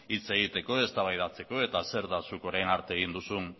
hitz egiteko eztabaidatzeko eta zer da zuk orain arte